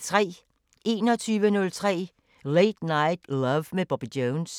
21:03: Late Night Love med Bobby Jones